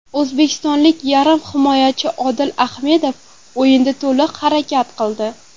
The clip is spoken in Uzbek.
O‘zbekistonlik yarim himoyachi Odil Ahmedov o‘yinda to‘liq harakat qildi.